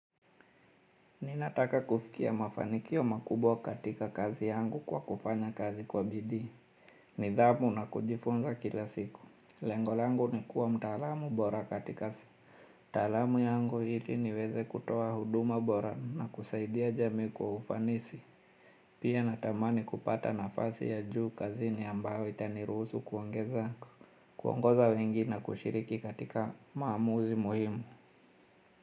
Ninataka kufikia mafanikio makubwa katika kazi yangu kwa kufanya kazi kwa bidii. Nidhamu na kujifunza kila siku. Lengolangu ni kuwa mtaalamu bora katika si. Taalamu yangu ili niweze kutoa huduma bora na kusaidia jamii kwa ufanisi. Pia natamani kupata nafasi ya juu kazi ni ambayo itaniruhusu kuongeza. Kuongoza wengi na kushiriki katika maamuzi muhimu.